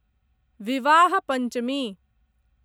विवाह पंचमी